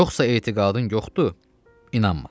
Yoxsa etiqadın yoxdur, inanma.